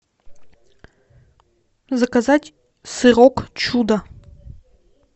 заказать сырок чудо